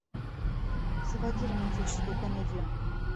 заводи романтическую комедию